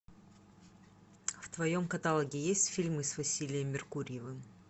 в твоем каталоге есть фильмы с василием меркурьевым